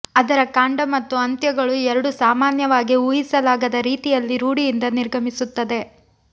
ಅದರ ಕಾಂಡ ಮತ್ತು ಅಂತ್ಯಗಳು ಎರಡೂ ಸಾಮಾನ್ಯವಾಗಿ ಊಹಿಸಲಾಗದ ರೀತಿಯಲ್ಲಿ ರೂಢಿಯಿಂದ ನಿರ್ಗಮಿಸುತ್ತದೆ